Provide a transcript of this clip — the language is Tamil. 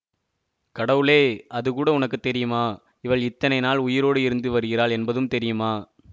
கடவுளே அதுகூட உனக்கு தெரியுமா இவள் இத்தனை நாள் உயிரோடு இருந்து வருகிறாள் என்பதும் தெரியுமா